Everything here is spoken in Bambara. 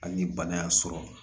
Hali ni bana y'a sɔrɔ